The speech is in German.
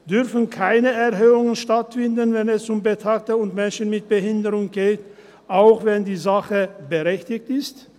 Dürfen keine Erhöhungen stattfinden, wenn es um Betagte und Menschen mit Behinderung geht, auch wenn die Sache berechtigt ist?